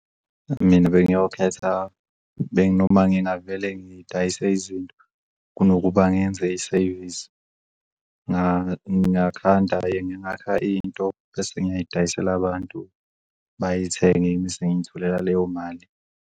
Mina bengiyokhetha noma ngingavele ngidayise izinto kunokuba ngenze isevisi, ngingakhanda and ngingakha into, bese ngiyidayisela abantu bayithenge ngize ngiyitholela leyo mali.